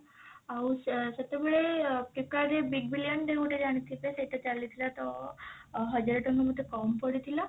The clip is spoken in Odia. ଆଉ ସେ ସେତେବେଳେ flipkart ରେ big billion day ଗୋଟେ ଜାଣିଥିବେ ସେଟା ଚାଲିଥିଲା ତ ହଜାରେ ଟଙ୍କା ମୋତେ କମ ପଡିଥିଲା